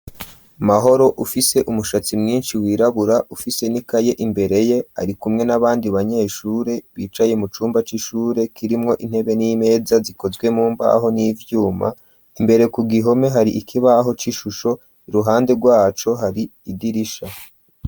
Mahoro afise umushatsi mwinshi wirabura afise n'ikaye imbere yiwe ari kumwe n'abandi banyeshure bicaye mu cumba c'ishure kirimwo intebe n'imeza zikozwe mu mbaho n'ivyuma imbere ku gihome hari ikibaho c'ishusho ruhande rwacu hari idirisha.